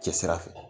Cɛ sira fɛ